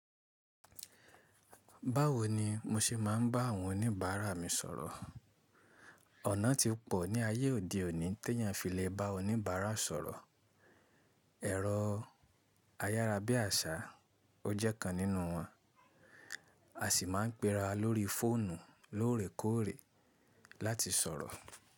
Báwo ni mo ṣe máa ń bá àwọn oníbàárà mi sọ̀rọ̀? Ọ̀nà ti pò ní ayé òde òní ti èèyàn fi lè bá oníbàárà sọ̀rọ̀, ẹ̀rọ ayárabíàṣá ó jẹ́ kan nínú wọn. A sì máa ń pera lórí fóònù lóòrèkóòrè láti sọ̀rọ̀.